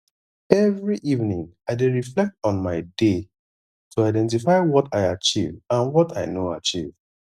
every evening i dey reflect on my day to identify what i achieve and what i no achieve